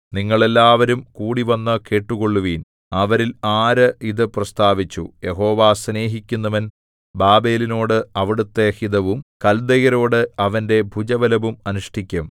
നിങ്ങൾ എല്ലാവരും കൂടിവന്നു കേട്ടുകൊള്ളുവിൻ അവരിൽ ആര് ഇതു പ്രസ്താവിച്ചു യഹോവ സ്നേഹിക്കുന്നവൻ ബാബേലിനോട് അവിടുത്തെ ഹിതവും കൽദയരോട് അവന്റെ ഭുജബലവും അനുഷ്ഠിക്കും